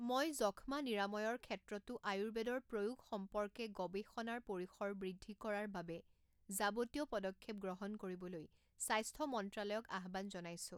মই যক্ষ্মা নিৰাময়ৰ ক্ষেত্ৰতো আয়ুৰ্বেদৰ প্ৰয়োগ সম্পৰ্কে গৱৱেষণাৰ পৰিসৰ বৃদ্ধি কৰাৰ বাবে যাৱতীয় পদক্ষেপ গ্ৰহণ কৰিবলৈ স্বাস্থ্য মন্ত্ৰালয়ক আহ্বান জনাইছো।